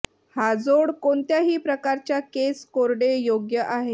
हा जोड कोणत्याही प्रकारच्या केस कोरडे योग्य आहे